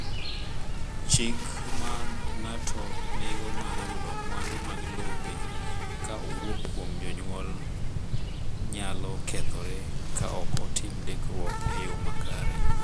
Chik ma ng’ato nigo mar yudo mwandu mag lope ka owuok kuom jonyuol nyalo kethore ka ok otim ndikruok e yo makare.